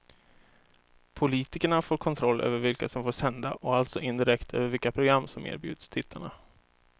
Politikerna får kontroll över vilka som får sända och alltså indirekt över vilka program som erbjuds tittarna.